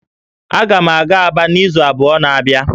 Aga m aga Aba n'izu abụọ na-abịa